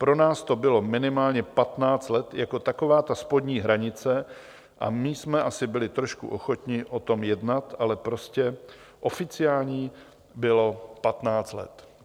Pro nás to bylo minimálně patnáct let jako taková ta spodní hranice a my jsme asi byli trošku ochotní o tom jednat, ale prostě oficiální bylo patnáct let.